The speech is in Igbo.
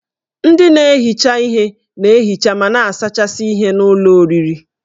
Ndị na-ehicha ihe na-ehicha ma na-asachasị ihen'ụlọ oriri